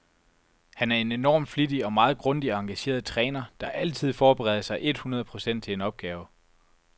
Han er en enorm flittig og meget grundig og engageret træner, der altid forbereder sig et hundrede procent til en opgave.